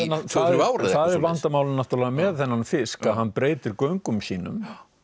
bara það er vandamálið náttúrulega með þennan fisk að hann breytir göngum sínum